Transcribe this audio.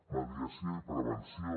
mediació i prevenció